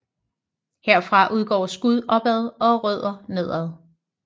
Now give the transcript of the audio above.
Herfra udgår skud opad og rødder nedad